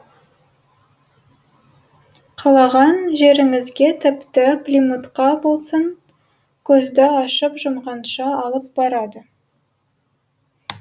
қалаған жеріңізге тіпті плимутқа болсын көзді ашып жұмғанша алып барады